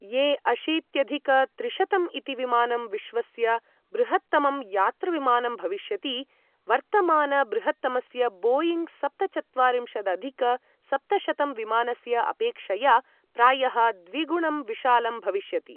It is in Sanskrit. ए अशीत्यधिक त्रिशतं इति विमानं विश्वस्य बृहत्तमं यातृविमानं भविष्यति, वर्तमानबृहत्तमस्य बोयिङ्ग् सप्तचत्वारिंशदधिक सप्तशतं विमानस्य अपेक्षया प्रायः द्विगुणं विशालं भविष्यति।